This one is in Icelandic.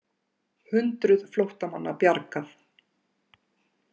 Hundruð flóttamanna bjargað